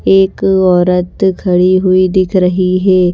एक औरत खड़ी हुई दिख रही है।